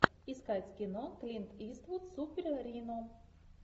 искать кино клинт иствуд супер рино